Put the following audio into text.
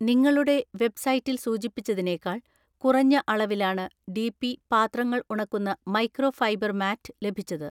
നിങ്ങളുടെ വെബ്‌സൈറ്റിൽ സൂചിപ്പിച്ചതിനേക്കാൾ കുറഞ്ഞ അളവിലാണ് ഡി.പി പാത്രങ്ങൾ ഉണക്കുന്ന മൈക്രോ ഫൈബർ മാറ്റ് ലഭിച്ചത്.